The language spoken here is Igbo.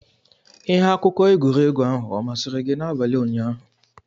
Ihe akụkọ egwuregwu ahụ ọ masịrị gị n'abalị ụnyaahụ?